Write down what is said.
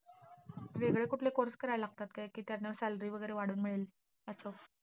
वेगळे कुठले course करायला लागतात का? कि त्यांना salary वगैरे वाढून मिळेल. असं